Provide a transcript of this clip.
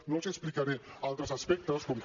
no els explicaré altres aspectes com que